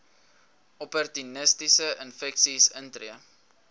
opportunistiese infeksies intree